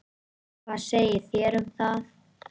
Hvað segið þér um það?